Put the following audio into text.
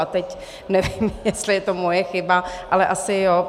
A teď nevím, jestli je to moje chyba, ale asi jo.